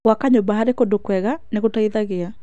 Gwaka nyũmba harĩ kũndũ kwega nĩ gũteithagia.